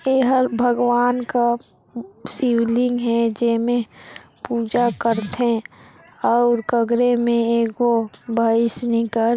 इ हर भगवान का शिवलिंग हे जेमें पूजा करथे और कग्रे में एको भैस नीकर--